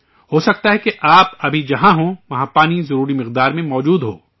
ہو سکتا ہے کہ آپ ابھی جہاں ہوں، وہاں پانی مناسب مقدار میں دستیاب ہو